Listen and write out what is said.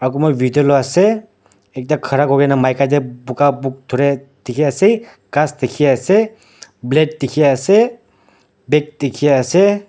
Kunba video loi ase ekta khara koikena maika teh bukha book thureh dekhe ase ghas dekhe ase black dekhe ase bag dekhe ase.